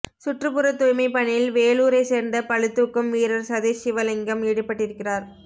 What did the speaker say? சுற்றுப்புற தூய்மை பணியில் வேலூரை சேர்ந்த பளுதூக்கும் வீரர் சதீஷ் சிவலிங்கம் ஈடுபட்டிருக்கிறார்